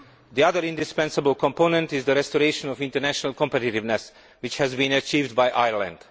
The other indispensable component is the restoration of international competitiveness, which has been achieved by Ireland.